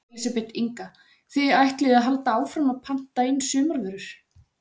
Elísabet Inga: Þið ætlið að halda áfram að að panta inn sumarvörur?